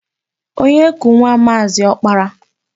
Onye ku nwa Maazị Ọkpara?